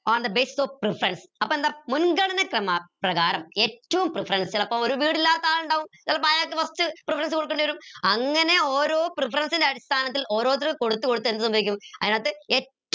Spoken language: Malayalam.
on the basis of preference അപ്പൊ എന്താ മുൻഗണന ക്രമ പ്രകാരം ഏറ്റവും preference ചിലപ്പോ ഒരു വീട് ഇല്ലാത്ത ആളിണ്ടാവും ചിലപ്പോ അയാൾക്ക് first preference കൊടുക്കണ്ടിവരും അങ്ങനെ ഓരോ preference ൻ്റെ അടിസ്ഥാനത്തിൽ ഓരോരുത്തർക്ക് കൊടുത്തുകൊടുത്ത് എന്ത് സംഭവിക്കും അതിനകത്തു എറ്റവും